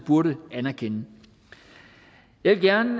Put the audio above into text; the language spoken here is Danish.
burde anerkende jeg vil gerne